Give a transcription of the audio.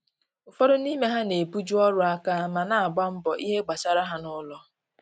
ụfọdụ n'ime ha na ebu ju ọrụ aka ma na agba mbọ ìhè gbasara ha na ụlọ